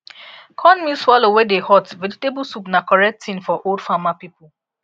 cornmeal swallow wey dey hot vegetable soup na correct thing for old farmer people